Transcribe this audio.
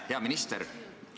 Hea minister!